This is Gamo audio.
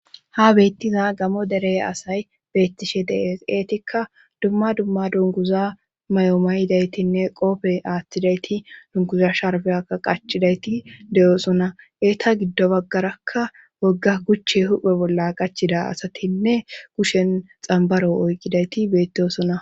Ha beettiza gamo derey asay beettishe dees eetikka dumma dumma dunkuza may7o ma yidaytinne qoofe aaththidayti dunkuza sharfeyaka qacidayti de7oosona eeta giddo baggarakka wogga kuchche huphe bolla qachida asatinne kushen xambaro oyqidayti bettosona.